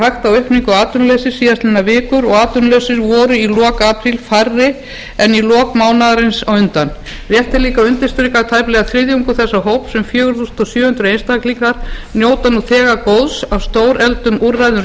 hægt á aukningu atvinnuleysis síðastliðinn vikur og atvinnulausir voru í lok apríl færri en í lok mánaðarins á undan rétt er líka að undirstrika að tæplega þriðjungur þessa hóps um fjögur þúsund sjö hundruð einstaklingar njóta nú þegar góðs af stórefldum úrræðum